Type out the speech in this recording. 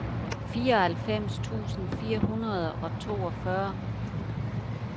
fireoghalvfems tusind fire hundrede og toogfyrre